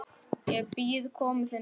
Ég bíð komu þinnar.